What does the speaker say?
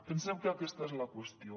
pensem que aquesta és la qüestió